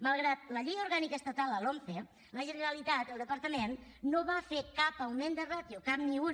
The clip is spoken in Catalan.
malgrat la llei orgànica estatal la lomce la generalitat el departament no va fer cap augment de ràtio cap ni un